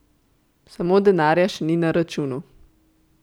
Samo denarja še ni na računu.